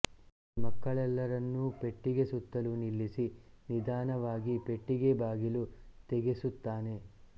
ಸರಿ ಮಕ್ಕಳೆಲ್ಲರನ್ನೂ ಪೆಟ್ಚಿಗೆ ಸುತ್ತಲೂ ನಿಲ್ಲಿಸಿ ನಿಧಾನವಾಗಿ ಪೆಟ್ಟಿಗೆ ಬಾಗಿಲು ತೆಗೆಸುತ್ತಾನೆ